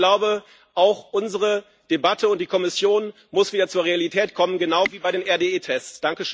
Ich glaube, auch unsere Debatte und die Kommission müssen wieder zur Realität kommen, genau wie bei den RDE Tests.